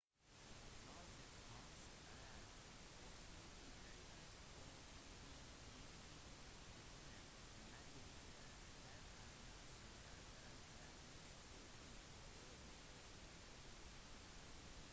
navnet hans er fortsatt ikke kjent for myndighetene men de vet at han er medlem av den etniske gruppen uighur